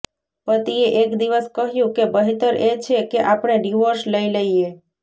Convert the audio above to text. પતિએ એક દિવસ કહ્યું કે બહેતર એ છે કે આપણે ડિવોર્સ લઈ લઈએ